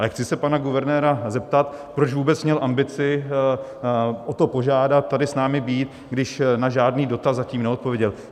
Ale chci se pana guvernéra zeptat, proč vůbec měl ambici o to, požádat tady s námi být, když na žádný dotaz zatím neodpověděl.